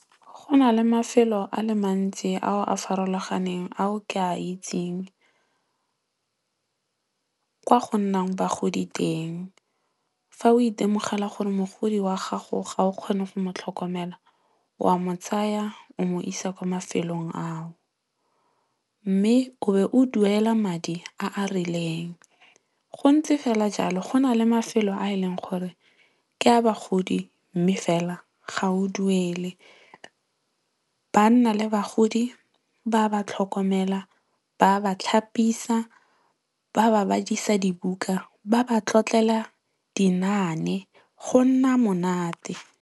Go na le mafelo a le mantsi ao a farologaneng ao ke a itseng kwa go nnang bagodi teng. Fa o itemogela gore mogodi wa gago ga o kgone go motlhokomela, wa mo tsaya o mo isa kwa mafelong ao. Mme o be o duela madi a a rileng. Gontse fela jalo, go nale mafelo a e leng gore ke a bagodi mme fela ga o duele. Ba nna le bagodi, ba ba tlhokomela, ba ba tlhapisa, ba ba badisa dibuka, ba ba tlotlela dinaane go nna monate.